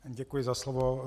Děkuji za slovo.